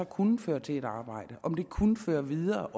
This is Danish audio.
kunne føre til et arbejde om det også kunne føre videre